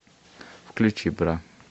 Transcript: включи бра